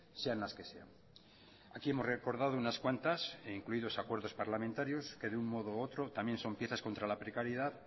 sean las que sean aquí hemos recordado unas cuantas e incluidos acuerdos parlamentarios que de un modo u otro también son piezas contra la precariedad